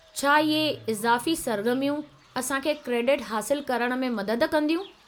छा इहे इज़ाफ़ी सरगर्मियूं असां खे क्रेडिट हासिलु करण में मदद कंदियूं?